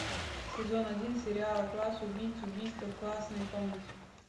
сезон один сериала класс убийц убийство в классной комнате